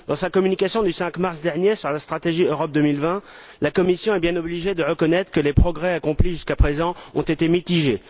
Dans sa communication du 5 mars dernier sur la stratégie Europe 2020, la Commission est bien obligée de reconnaître que les progrès accomplis jusqu'à présent ont été mitigés.